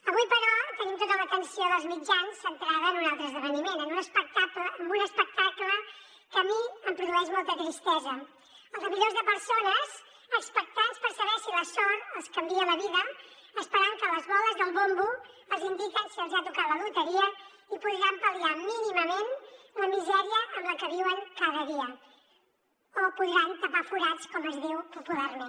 avui però tenim tota l’atenció dels mitjans centrada en un altre esdeveniment en un espectacle que a mi em produeix molta tristesa el de milions de persones expectants per saber si la sort els canvia la vida esperant que les boles del bombo els indiquin si els hi ha tocat la loteria i podran pal·liar mínimament la misèria en la que viuen cada dia o podran tapar forats com es diu popularment